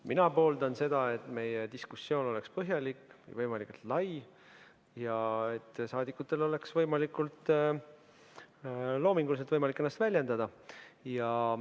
Mina pooldan seda, et meie diskussioon oleks põhjalik ja võimalikult lai ja saadikutel oleks võimalik võimalikult loominguliselt ennast väljendada.